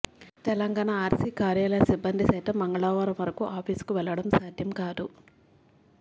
Telangana RC కార్యాలయ సిబ్బంది సైతం మంగళవారం వరకు ఆఫీసుకు వెళ్ళడం సాధ్యం కాదు